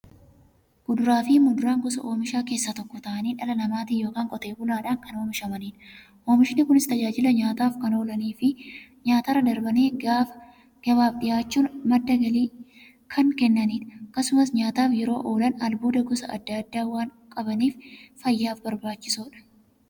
Kuduraafi muduraan gosa oomishaa keessaa tokko ta'anii, dhala namaatin yookiin qotee bulaadhan kan oomishamaniidha. Oomishni Kunis, tajaajila nyaataf kan oolaniifi nyaatarra darbanii gabaaf dhiyaachuun madda galii kan kennaniidha. Akkasumas nyaataf yeroo oolan, albuuda gosa adda addaa waan qabaniif, fayyaaf barbaachisoodha.